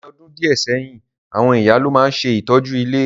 Ní odùn díẹ̀ sẹ́yìn, àwon ìyá lo ma n se ìtọ́jú ilé.